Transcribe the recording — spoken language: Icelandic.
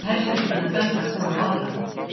Hersveitirnar benda hvor á aðra